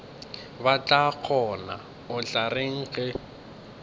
batlagonna o tla reng ge